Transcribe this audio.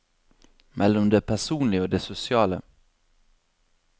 Mellom det personlige og det sosiale.